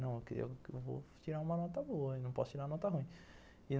Falei, vou tirar uma nota boa, não posso tirar uma nota ruim.